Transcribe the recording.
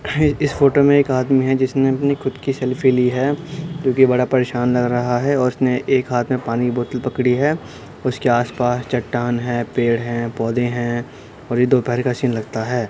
है इस फोटो में एक आदमी है जिसने अपनी खुद की सेल्फी ली है जो कि बड़ा परेशान लग रहा है और उसने एक हाथ में पानी की बोतल पकड़ी है। उसके आस-पास चट्टान हैं पेड़ हैं पोधे हैं और ये दोपहर का सीन लगता है।